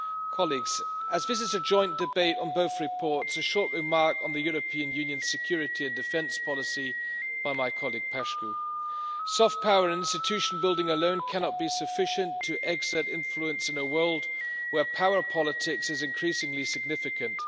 Colleagues, as this is a joint debate on both reports, a short remark on the European Union's Common Security and Defence Policy by my colleague Mr Paşcu. Soft power and institution building alone cannot be sufficient to exert influence in a world where power politics is increasingly significant.